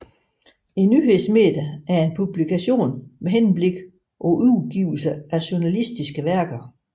Et nyhedsmedie er en publikation med henblik på udgivelse af journalistiske værker